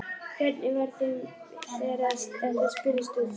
Hvernig var þeim við þegar að þetta spurðist út?